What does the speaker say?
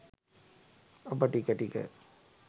ඔබ ටික ටික